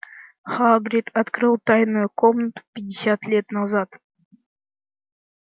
хагрид открыл тайную комнату пятьдесят лет назад